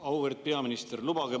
Auväärt peaminister!